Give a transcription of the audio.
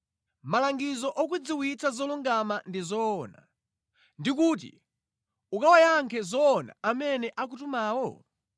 malangizo okudziwitsa zolungama ndi zoona ndi kuti ukawayankhe zoona amene akutumawo?